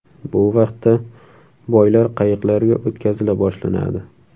Bu vaqtda boylar qayiqlarga o‘tkazila boshlanadi.